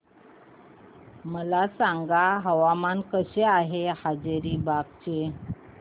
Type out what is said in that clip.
मला सांगा हवामान कसे आहे हजारीबाग चे